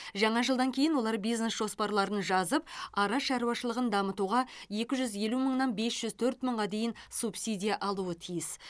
жаңа жылдан кейін олар бизнес жоспарларын жазып ара шаруашылығын дамытуға екі жүз елу мыңнан бес жүз төрт мыңға дейін субсидия алуы тиіс